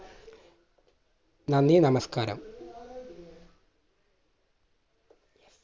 നന്ദി! നമസ്കാരം!